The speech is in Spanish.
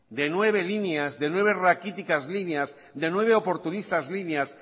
de nueve líneas de nueve raquíticas líneas de nueve oportunistas líneas